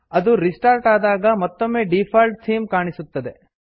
ಅದು ರಿಸ್ಟಾರ್ಟ್ ಆದಾಗ ಮತ್ತೊಮ್ಮೆ ಡೀಫಾಲ್ಟ್ ಥೀಮ್ ಕಾಣಸಿಗುತ್ತದೆ